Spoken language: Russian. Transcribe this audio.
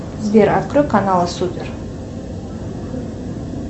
сбер открой канал супер